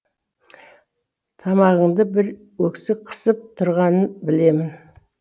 тамағыңды бір өксік қысып тұрғанын білемін